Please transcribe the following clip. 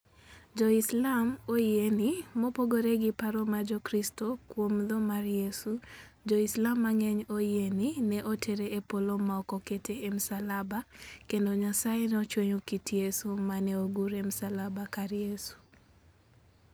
Jo-Islam oyie ni, mopogore gi paro mar Jokristo kuom tho mar Yesu, Jo-Islam mang'eny oyie ni ne otere e Polo ma ok okete e msalaba kendo Nyasaye nochweyo kit Yesu ma ne ogur e msalaba kar Yesu.